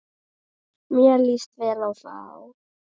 Mér líst vel á þá.